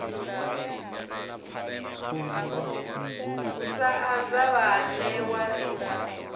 u sa anza vhaanewa ri